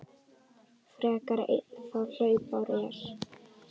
frekar einn þá hlaupár er.